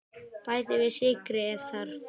Bætið við sykri ef þarf.